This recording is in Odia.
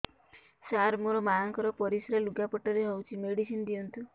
ସାର ମୋର ମାଆଙ୍କର ପରିସ୍ରା ଲୁଗାପଟା ରେ ହଉଚି ମେଡିସିନ ଦିଅନ୍ତୁ